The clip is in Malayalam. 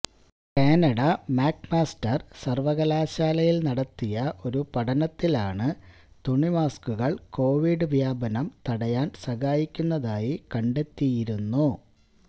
കാനഡ മാക് മാസ്റ്റര് സര്വകലാശാലയില് നടത്തിയ ഒരു പഠനത്തിലാണ് തുണി മാസ്കുകള് കൊവിഡ് വ്യാപനം തടയാൻ സഹായിക്കുന്നതായി കണ്ടെത്തിയിരുന്നു